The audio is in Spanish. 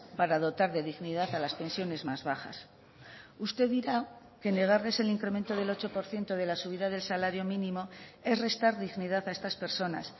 para dotar de dignidad a las pensiones más bajas usted dirá que negarles el incremento del ocho por ciento de la subida del salario mínimo es restar dignidad a estas personas